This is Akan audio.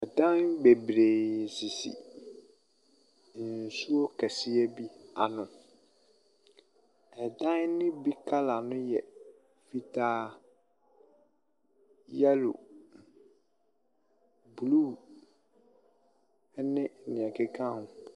Dan bebree sisi nsuo kɛseɛ bi ano. Dan ne bi colour no yɛ fitaa, yellow, blue ne deɛ ɛkeka ho.